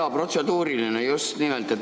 Jaa, protseduuriline, just nimelt.